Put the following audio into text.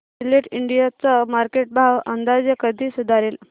Gillette India चा market भाव अंदाजे कधी सुधारेल